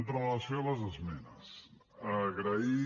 amb relació a les esmenes agrair